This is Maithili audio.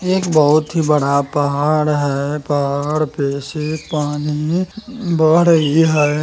एक बहुत ही बड़ा पहाड़ है पहाड़ पे से पानी बह रही है।